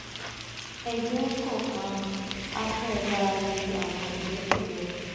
ẹgbẹ́ kọ̀ọ̀kan a fẹ́ dárà jú àwọn ìyókù lọ